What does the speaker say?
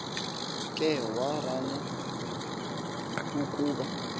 ke warana ukoba